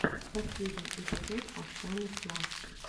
последний эпизод оксаны слафф